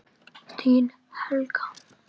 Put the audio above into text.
Þín, Helga.